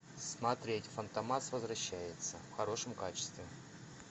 смотреть фантомас возвращается в хорошем качестве